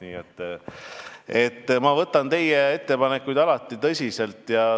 Nii et ma võtan teie ettepanekuid alati tõsiselt.